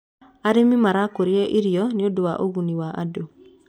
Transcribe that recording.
arĩmi marakuria irio nĩũndũ wa ugunĩ wa andu